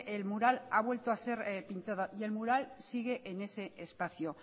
el mural ha vuelto a ser pintado y el mural sigue en ese espacio